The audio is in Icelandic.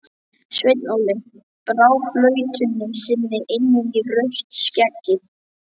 Sveinn Óli brá flautunni sinni inn í rautt skeggið.